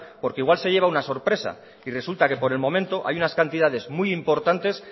porque igual se lleva una sorpresa y resulta que por el momento hay unas cantidades muy importantes